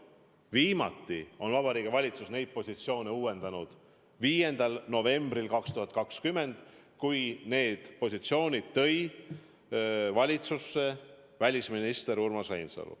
Viimati on Vabariigi Valitsus neid positsioone uuendanud 5. novembril 2020, kui need positsioonid tõi valitsusse välisminister Urmas Reinsalu.